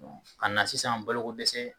ka na sisan balokodɛsɛ